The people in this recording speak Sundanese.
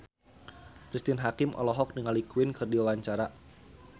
Cristine Hakim olohok ningali Queen keur diwawancara